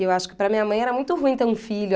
E eu acho que para minha mãe era muito ruim ter um filho.